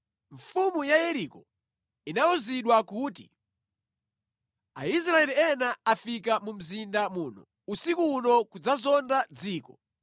Mfumu ya Yeriko inawuzidwa kuti, “Aisraeli ena afika mu mzinda muno usiku uno kudzazonda dziko.”